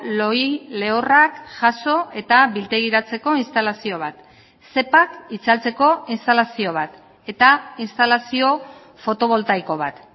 lohi lehorrak jaso eta biltegiratzeko instalazio bat zepak itzaltzeko instalazio bat eta instalazio fotoboltaiko bat